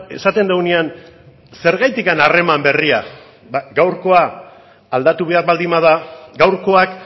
esaten dugunean zergatik harreman berria ba gaurkoa aldatu behar baldin bada gaurkoak